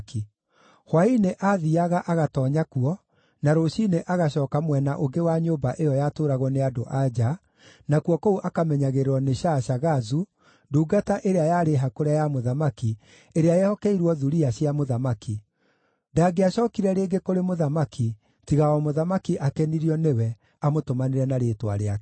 Hwaĩ-inĩ aathiiaga agatoonya kuo, na rũciinĩ agacooka mwena ũngĩ wa nyũmba ĩyo yatũũragwo nĩ andũ-a-nja, nakuo kũu akamenyagĩrĩrwo nĩ Shaashagazu, ndungata ĩrĩa yarĩ hakũre ya mũthamaki, ĩrĩa yehokeirwo thuriya cia mũthamaki. Ndangĩacookire rĩngĩ kũrĩ mũthamaki tiga o mũthamaki akenirio nĩwe amũtũmanĩre na rĩĩtwa rĩake.